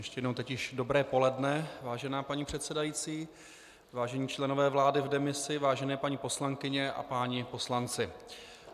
Ještě jednou teď již dobré poledne, vážená paní předsedající, vážení členové vlády v demisi, vážené paní poslankyně a páni poslanci.